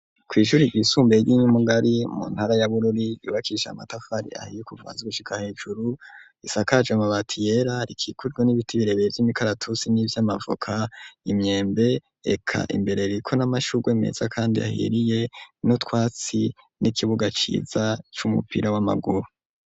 Kw'ishure ryisumbuye ry'Inyumugari, mu ntara ya Bururi, ryubakishije amatafari ahiye kuva hasi gushika hejuru, risakaje amabati yera, rikikujwe n'ibiti birebire vy'imikaratusi nivy'amavoka, imyembe, eka imbere ririko n'amashurgwe meza kandi ahiriye, n'utwatsi n'ikibuga ciza c'umupira w'amaguru.